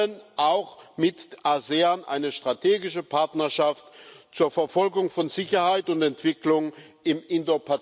Wir wollen auch mit ASEAN eine strategische Partnerschaft zur Verfolgung von Sicherheit und Entwicklung im indopazifischen Raum.